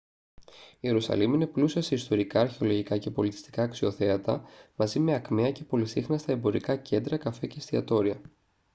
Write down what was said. η ιερουσαλήμ είναι πλούσια σε ιστορικά αρχαιολογικά και πολιτιστικά αξιοθέατα μαζί με ακμαία και πολυσύχναστα εμπορικά κέντρα καφέ και εστιατόρια